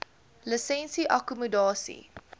lisensie akkommodasie